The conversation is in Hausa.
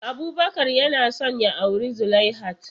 Abubakar yana son ya auri Zulaihat.